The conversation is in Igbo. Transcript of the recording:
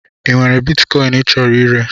Ị nwere bitkọin ị chọrọ ire?